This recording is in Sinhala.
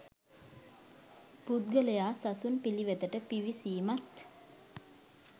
පුද්ගලයා සසුන් පිළිවෙතට පිවිසීමත්,